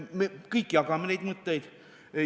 Me kõik jagame neid mõtteid.